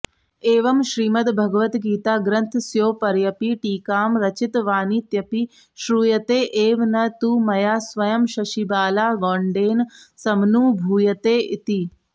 एवं श्रीमद्भगवद्गीताग्रन्थस्योपर्यपि टीकां रचितवानित्यपि श्रूयते एव न तु मया स्वयं शशिबालागौंडेन समनुभूयते इति